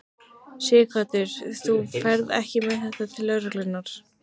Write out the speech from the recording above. Sighvatur: Þú ferð ekki með þetta til lögreglunnar?